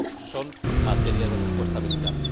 No son materia de respuesta militar.